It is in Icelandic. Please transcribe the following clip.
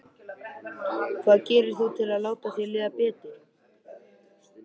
Hvað gerir þú til að láta þér líða betur?